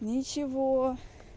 ничего